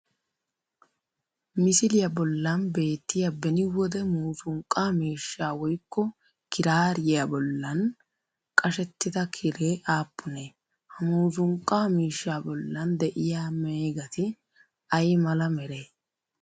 misiliyaa bollan beettiyaa beni wode muuzunqqaa miishshaa woyikko kiraariyaa bollan qashettida kiree aappunee? Ha muuzunqqa miishshaa bollan de'iyaa meegati ayi mala meree?